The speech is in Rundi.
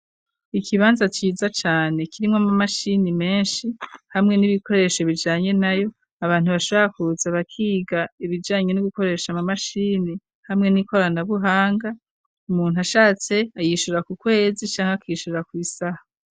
ikibanza cyiza cyane kirimwa mu mashini menshi hamwe n'ibikoresho bijanye nayo abantu bashakutsa bakiga ibijanye ni gukoresha mu mashini hamwe n'ikoranabuhanga umuntu ashatse ayishura ku kwezi cyangwa akishura ku isaha